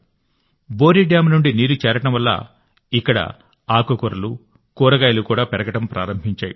Bori dam నుండి నీరు చేరడం వల్ల ఇక్కడ ఆకుకూరలు కూరగాయలు కూడా పెరగడం ప్రారంభించాయి